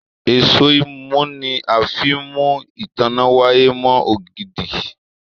Èṣó imú ní a fín mú ìtanná waya mo ògidì.